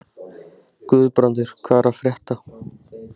Guðbrandur, hvað er að frétta?